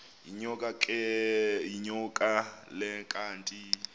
yinyoka le kanti